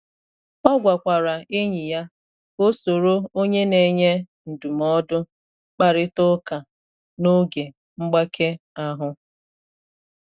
O gwakwara enyi ya ka o soro onye na enye ndụmọdụ kparịta ụka n’oge mgbake ahụ.